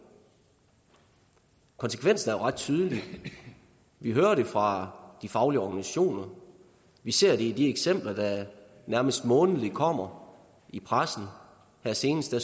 konsekvensen er jo ret tydelig vi hører det fra de faglige organisationer og vi ser det i de eksempler der nærmest månedligt kommer i pressen her senest har